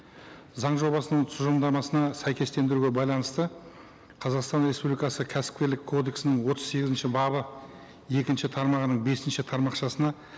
заң жобасының тұжырымдамасына сәйкестендіруге байланысты қазақстан республикасы кәсіпкерлік кодексінің отыз сегізінші бабы екінші тармағының бесінші тармақышасына